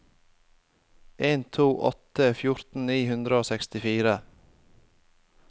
en to to åtte fjorten ni hundre og sekstifire